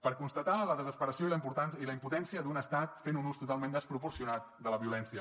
per constatar la desesperació i la impotència d’un estat fent un ús totalment desproporcionat de la violència